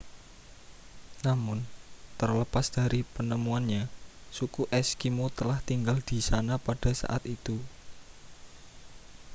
namun terlepas dari penemuannya suku eskimo telah tinggal di sana pada saat itu